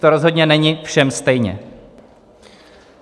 To rozhodně není všem stejně.